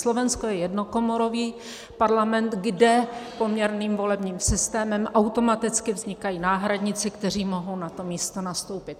Slovensko je jednokomorový parlament, kde poměrným volebním systémem automaticky vznikají náhradníci, kteří mohou na to místo nastoupit.